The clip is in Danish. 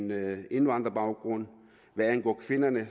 med indvandrerbaggrund hvad angår kvinderne